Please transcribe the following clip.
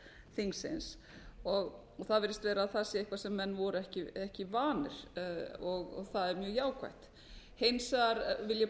þingsins og það virðist vera að þar sé eitthvað sem menn voru ekki vanir og það er mjög jákvætt hins vegar vil ég